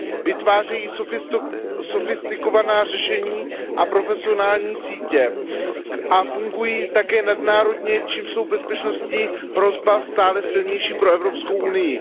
Vytvářejí sofistikovaná řešení a profesionální sítě a fungují také nadnárodně, čímž je bezpečnostní hrozba stále silnější pro Evropskou unii.